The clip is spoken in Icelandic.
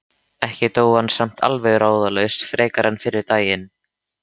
Ekki dó hann samt alveg ráðalaus frekar en fyrri daginn.